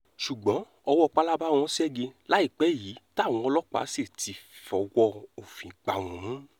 ṣùgbọ́n ọwọ́ pálábá wọn ṣẹ́gi láìpẹ́ yìí táwọn ọlọ́pàá sì ti fọwọ́ òfin gbá wọn mú